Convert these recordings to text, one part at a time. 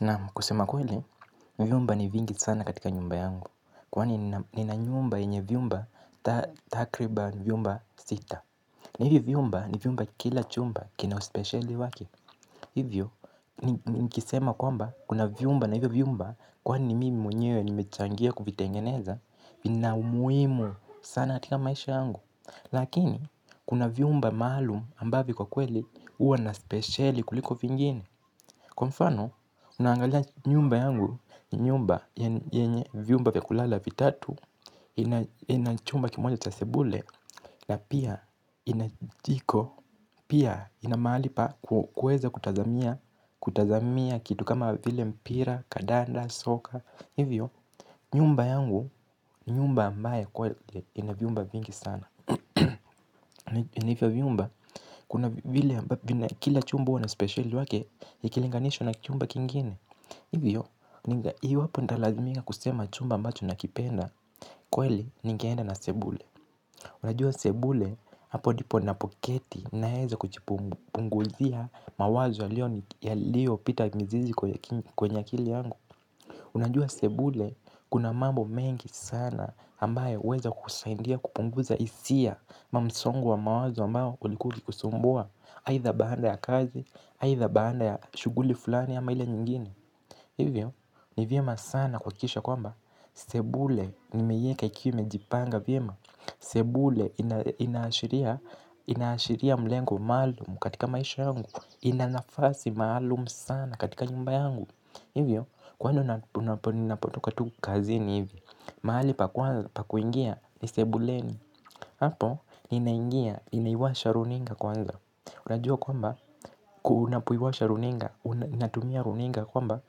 Naam kusema kweli, vyumba ni vingi sana katika nyumba yangu. Kwani nina nyumba yenye vyumba takribani vyumba sita. Na hivi vyumba ni vyumba kila chumba kina uspeciali waki. Hivyo, nikisema kwamba kuna vyumba na hivi vyumba kwaani mimi mwenyewe nimechangia kuvitengeneza. Vina umuhimu sana katika maisha yangu. Lakini, kuna vyumba maalum ambavyo kwa kweli huwa naspeciali kuliko vingine. Kwa mfano, unangalia nyumba yangu, nyumba yenye vyumba vya kulala vitatu, inachumba kimoja cha sebule, na pia ina jiko, pia ina mahali pa kuweza kutazamia kitu kama vile mpira, kadanda, soka, hivyo, nyumba yangu, ni nyumba ambaye kweli inavyumba vingi sana. Na hivyo viumba, kuna kile chumba huwa na speciali wake ikilinganishwa na chumba kingine. Hivyo, iwapo nitalazimika kusema chumba ambacho nakipenda kweli, nigeenda na sebule. Unajua sebule, hapo ndipo na poketi naeza kuchipunguzia mawazo yaliyo ya lpita mizizi kwenye akili yangu. Unajua sebule, kuna mambo mengi sana ambayo uweza kusaidia kupunguza hisia ama msongo wa mawazo ambao ulikuwa ukikusumbua aidha baada ya kazi aidha baada ya shughuli fulani ama ila nyingine. Hivyo ni vyema sana kuhakikisha kwamba sebule nimeiweka ikiwa imejipanga vyema. Sebule inaashiria inaashiria mlengo maalumu katika maisha yangu. Inanafasi maalumu sana katika nyumba yangu. Hivyo kwani napotoka tu kazi ni hivi. Mahali pa kwanza pa kuingia ni sebuleni. Hapo ninaingia, ninaiwasha runinga kwanza. Unajua kwamba, unapoiwasha runinga unatumia runinga kwamba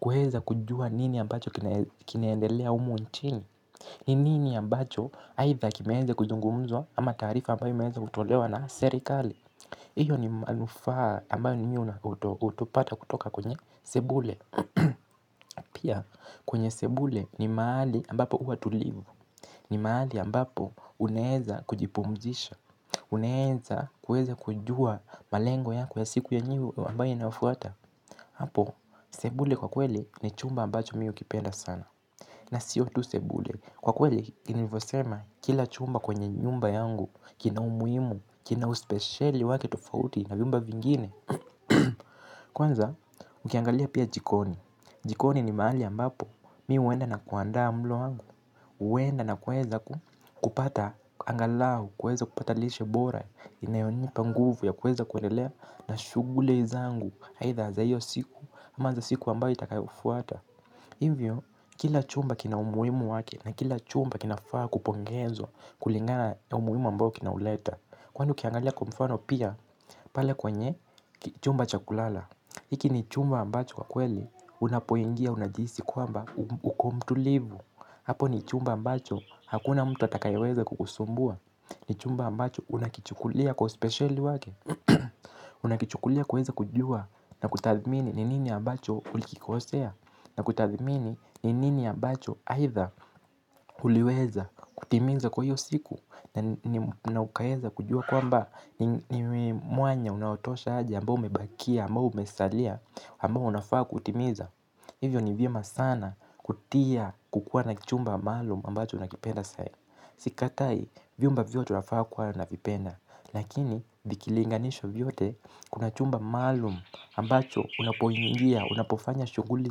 kuweza kujua nini ambacho kinaendelea humu nchini ninini ambacho, aidha kimewezwa kuzungumzwa ama taarifa ambayo imewezwa kutolewa na serikali hiyo ni manufaa ambayo mimi utopata kutoka kwenye sebulen. Pia, kwenye sebule ni mahali ambapo huwa tulivu. Ni mahali ambapo unaeza kujipumzisha. Unaeza kueza kujua malengo yako ya siku yenye ambayo inafuata. Hapo, sebule kwa kweli ni chumba ambacho mimi ukipenda sana. Na sio tu sebule, kwa kweli nilifosema kila chumba kwenye nyumba yangu kina umuhimu, kina uspecieli wake tofauti na vyumba vingine. Kwanza, ukiangalia pia jikoni jikoni ni mahali ambapo mi huenda na kuandaa mlo wangu huenda na kuweza kupata angalau, kuweza kupata lishe bora inayonipa nguvu ya kuweza kuendelea na shughuli zangu, aidha za hiyo siku ama za siku ambayo itakayofuata. Hivyo, kila chumba kina umuhimu wake na kila chumba kinafaa kupongezwa kulingana ya umuhimu ambao kinauleta. Kwani ukiangalia kwa mfano pia, pale kwenye, chumba chakulala. Iki ni chumba ambacho kwa kweli, unapoingia, unajihisi kwamba, uko mtulivu. Apo ni chumba ambacho hakuna mtu atakaye weza kukusumbua. Ni chumba ambacho unakichukulia kwa uspecieli wake. Unakichukulia kuweza kujua na kutathmini ni nini ambacho ulikikosea. Na kutazimini ni nini ambacho aidha uliweza kutimiza kwa hiyo siku. Na ukaeza kujua kwamba ni mwanya unaotosha aje ambao umebakia, amba umesalia, ambao unafaa kutimiza. Hivyo ni vyema sana kutia kukua na kichumba maalum ambacho nakipenda sahii. Sikatai vyumba vyote unafaa kuwa na vipenda. Lakini vikilinganishwa vyote kuna chumba maalum ambacho unapoingia, unapofanya shughuli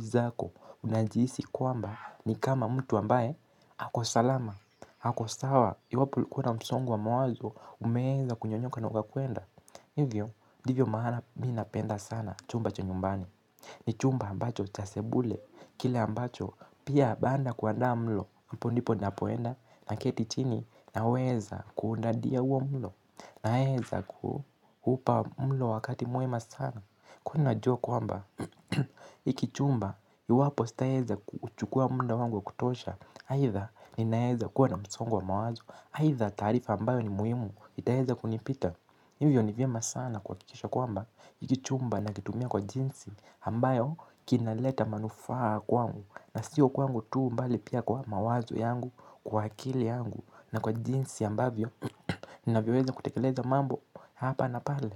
zako. Unajihisi kwamba ni kama mtu ambaye ako salama, ako sawa. Iwapo ulikuwa na msongo wa mawazo umeeza kunyonyoka na ukakwenda. Hivyo ndivyo maana mi napenda sana chumba cha nyumbani. Ni chumba ambacho cha sebule, kile ambacho pia baada ya kuandaa mlo, hapo ndipo napoenda na keti chini naweza kuundadia huo mlo. Naeza kuupa mlo wakati mwema sana, kwani najua kwamba, hiki chumba iwapo sitaeza kuchukua muda wangu wakutosha aidha ni naeza kuwa na msongo wa mawazo, aidha taarifa ambayo ni muimu, itaeza kunipita. Hivyo ni vyema sana kuhaikisha kwamba, hiki chumba na kitumia kwa jinsi ambayo kinaleta manufaa kwangu. Na siyo kwangu tu mbali pia kwa mawazo yangu, kwa akili yangu na kwa jinsi ambavyo ninavyoweza kutekeleza mambo hapa na pale.